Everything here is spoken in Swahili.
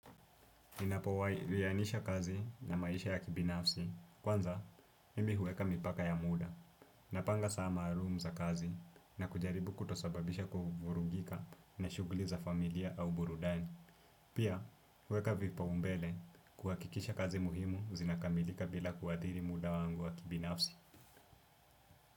Ninapowai iainisha kazi na maisha ya kibinafsi. Kwanza, mimi huweka mipaka ya muda. Napanga saa maalum za kazi na kujaribu kutosababisha kuvurugika na shuguli za familia au burudani. Pia, huweka vipaumbele kuhakikisha kazi muhimu zinakamilika bila kuathiri muda wangu wa kibinafsi.